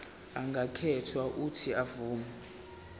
angakhetha uuthi avume